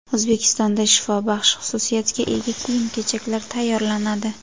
O‘zbekistonda shifobaxsh xususiyatga ega kiyim-kechaklar tayyorlanadi.